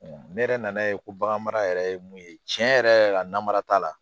ne yɛrɛ nana ye ko bagan mara yɛrɛ ye mun ye tiɲɛ yɛrɛ yɛrɛ la mara t'a la